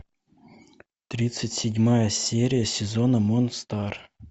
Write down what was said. тридцать седьмая серия сезона монстар